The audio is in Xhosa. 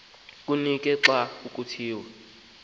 kunyanisiwe xa kuthiwa